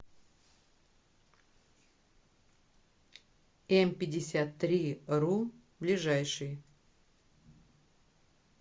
эмпятьдесяттриру ближайший